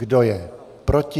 Kdo je proti?